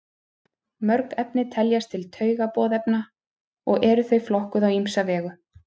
Mörg efni teljast til taugaboðefna og eru þau flokkuð á ýmsa vegu.